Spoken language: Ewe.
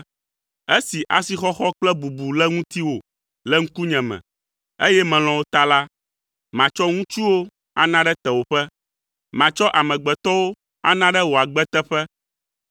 Esi asixɔxɔ kple bubu le ŋutiwò le ŋkunye me, eye melɔ̃ wò ta la, matsɔ ŋutsuwo ana ɖe tewòƒe. Matsɔ amegbetɔwo ana ɖe wò agbe teƒe.